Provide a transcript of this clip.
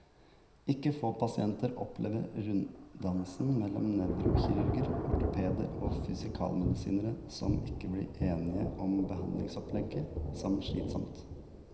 Ikke få pasienter opplever runddansen mellom nevrokirurger, ortopeder og fysikalmedisinere, som ikke blir enige om behandlingsopplegget, som slitsom.